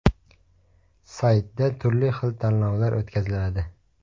Saytda turli xil tanlovlar o‘tkaziladi.